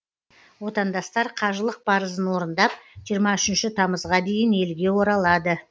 отандастар қажылық парызын орындап жиырма үшінші тамызға дейін елге оралады